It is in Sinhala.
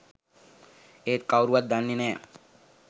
ඒත් කවුරුවත් දන්නේ නෑ